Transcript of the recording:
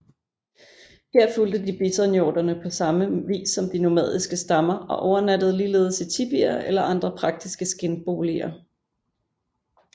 Her fulgte de bisonhjordene på samme vis som de nomadiske stammer og overnattede ligeledes i tipier eller andre praktiske skindboliger